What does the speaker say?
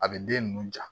A bɛ den ninnu ja